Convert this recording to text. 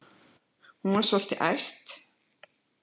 Hún er svolítið æst.